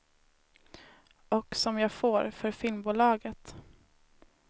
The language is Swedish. Och som jag får, för filmbolaget.